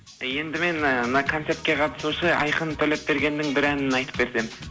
енді мен ыыы мына концертке қатысушы айқын төлепбергеннің бір әнін айтып берсем